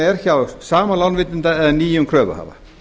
er hjá sama lánveitanda eða nýjum kröfuhafa